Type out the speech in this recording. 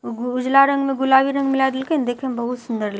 उ उजला रंग में गुलाबी रंग मिला देलकै नै देखए मे बहुत सुन्दर ल--